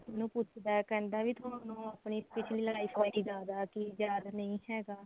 ਉਹਨੂੰ ਪੁੱਛਦਾ ਕਹਿੰਦਾ ਵੀ ਤੁਹਾਨੂੰ ਆਪਣੀ ਪਿੱਛਲੀ ਲੜ੍ਹਾਈ ਬਾਰੇ ਕਿ ਯਾਦ ਕਿ ਯਾਦ ਨਹੀਂ ਹੈਗਾ